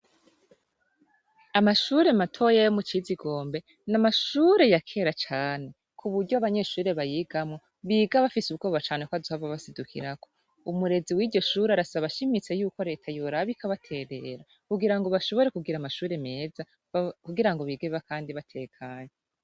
Amashure matoya yo Mukizigombe, n’amashure ya kera cane. kubury’abanyeshure bayigamwo biga bafis’ubwoba cane kw’azohava abasidukirako. Umurezi w’iryo shure arasaba ashimitse yuko Leta yoraba ikabaterera kugirango bashobore kugira amashure meza kugirango bige Kandi batekanye.